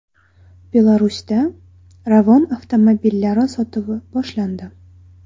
Belarusda Ravon avtomobillari sotuvi boshlandi.